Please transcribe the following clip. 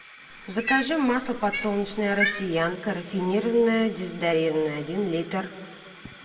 закажи масло подсолнечное россиянка рафинированное дезодорированное один литр